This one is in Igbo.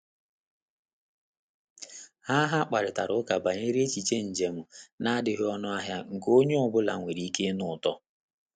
Ha Ha kparịtara ụka banyere echiche njem na-adịghị ọnụ ahịa nke onye ọ bụla nwere ike ịnụ ụtọ